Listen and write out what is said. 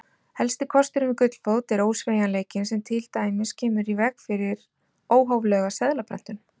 Helsti kosturinn við gullfót er ósveigjanleikinn sem til dæmis kemur í veg fyrir óhóflega seðlaprentun.